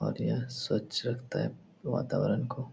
और यह स्वच्छ रखता है वातावरण को।